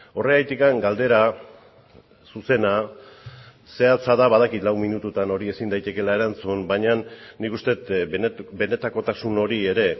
horregatik galdera zuzena zehatza da badakit lau minututan hori ezin daitekeela erantzun baina nik uste dut benetakotasun hori ere